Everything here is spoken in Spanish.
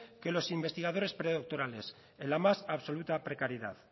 que los investigadores predoctorales en la más absoluta precariedad